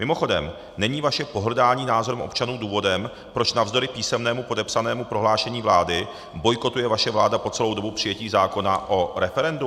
Mimochodem, není vaše pohrdání názorem občanů důvodem, proč navzdory písemnému podepsanému prohlášení vlády bojkotuje vaše vláda po celou dobu přijetí zákona o referendu?